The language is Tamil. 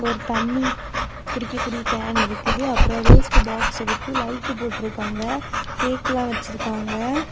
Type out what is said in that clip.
ஒரு தண்ணி குடிக்க கூடிய ஒரு கேன் இருக்குது அப்ரோ வேஸ்ட் பாக்ஸ் இருக்கு லைட்டு போட்டிருக்காங்க கேக்கெலா வச்சிருக்காங்க.